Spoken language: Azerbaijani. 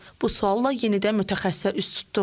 Bu sualla yenidən mütəxəssisə üz tutduq.